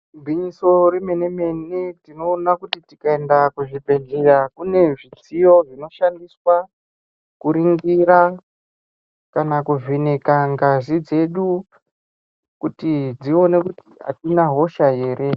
Gwinyiso remene mene tinoona kuti tikaenda kuzvibhedhleya kune zvitiyo zvinoshandiswa kuringira kana kuvheneka ngazi dzedu kuti dzione kuti adzina hosha here